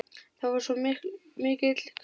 Það var svo mikill kuldi.